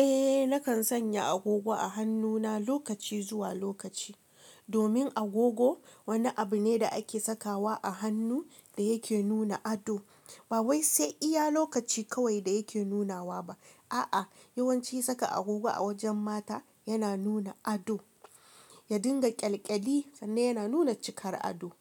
Eh nakan sanya agogo a hannuna lokaci zuwa lokaci, domin agogo wani abu ne da ake sakawa a hannu da yake nuna ado. Ba wai sai iya lokaci kawai da yake nunawa ba. A'a, yawanci saka agogo a wajen mata yana nuna ado. Ya dinga ƙyalƙyali sannan yana nuna cikar ado.